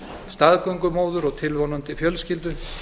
staðgöngumóður og tilvonandi fjölskyldu